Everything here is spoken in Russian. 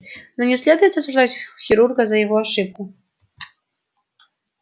но не следует осуждать хирурга за его ошибку